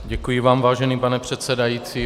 Děkuji vám, vážený pane předsedající.